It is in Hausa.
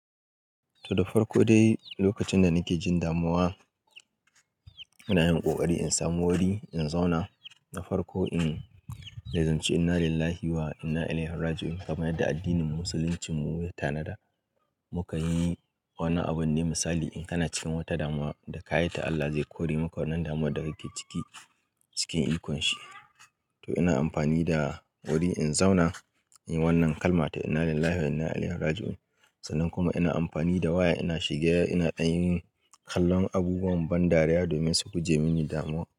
To da farko dai lokacin da nake jin damuwa, ina yin ƙoƙari in samu wuri in zauna na farko in dai zan ce inna lillahi wa inna ilaihi raji'un kamar yadda addinin Musulunci mu ya tanada. Mukan yi wani abin ne misali in kana cikin wata damuwa da ka yi ta Allah zai kore maka wannan damuwar da kake ciki cikin ikonshi. To ina amfani da wuri in zauna inyi wannan kalma ta inna lillahi wa inna ilaihi raji'un sannan kuma ina amfani da waya ina shiga ina yin kallon abubuwan ban dariya domin su guje mini damuwa.